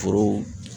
Foro